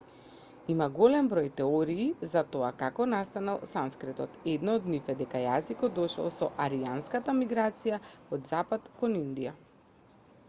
има голем број теории за тоа како настанал санскритот една од нив е дека јазикот дошол со арјанската миграција од запад кон индија